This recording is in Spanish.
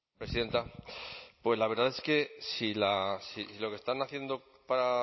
presidenta pues la verdad es que si lo que están haciendo para